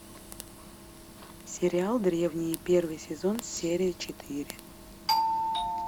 сериал древние первый сезон серия четыре